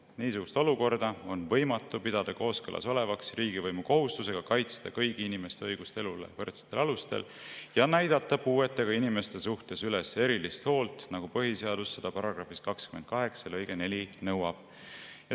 Niisugust olukorda on võimatu pidada kooskõlas olevaks riigivõimu kohustusega kaitsta kõigi inimeste õigust elule võrdsetel alustel ja näidata puuetega inimeste suhtes üles erilist hoolt, nagu põhiseadus seda § 28 lõikes 4 nõuab.